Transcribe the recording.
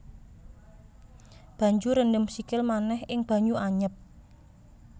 Banjur rendem sikil manéh ing banyu anyep